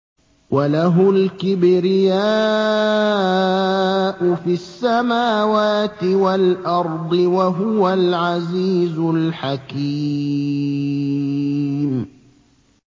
وَلَهُ الْكِبْرِيَاءُ فِي السَّمَاوَاتِ وَالْأَرْضِ ۖ وَهُوَ الْعَزِيزُ الْحَكِيمُ